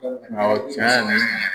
tiɲɛ